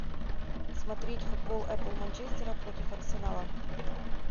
смотреть футбол апл манчестера против арсенала